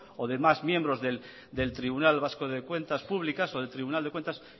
o de más miembros del tribunal vasco de cuentas públicas o del tribunal de cuentas